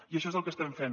i això és el que estem fent